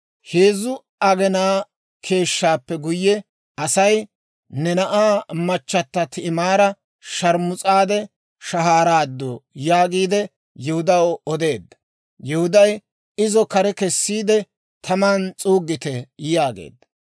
Heezzu aginaa keeshshaappe guyye asay, «Ne na'aa machata Ti'imaara sharmus'aade shahaaraaddu» yaagiide Yihudaw odeedda. Yihuday, «Izo kare kessiide taman s'uuggite» yaageedda.